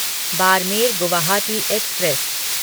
Barmer Guwahati express